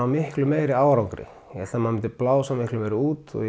miklu meiri árangri ég hélt maður myndi blása miklu meira út og